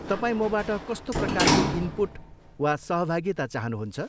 तपाईँ मबाट कस्तो प्रकारको इनपुट वा सहभागिता चाहनुहुन्छ?